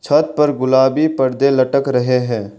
छत पर गुलाबी पर्दे लटक रहे हैं।